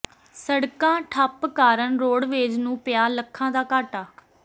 ਸਡ਼ਕਾਂ ਠੱਪ ਕਾਰਨ ਰੋਡਵੇਜ਼ ਨੂੰ ਪਿਆ ਲੱਖਾਂ ਦਾ ਘਾਟਾ